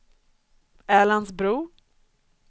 Älandsbro